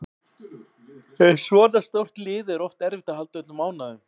Með svona stórt lið er oft erfitt að halda öllum ánægðum